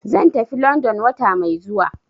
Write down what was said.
Zan tafi London wata mai zuwa.